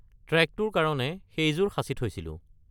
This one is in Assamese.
ট্ৰেকটোৰ কাৰণে সেইযোৰ সাঁচি থৈছিলোঁ।